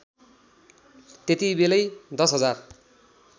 त्यतिबेलै १० हजार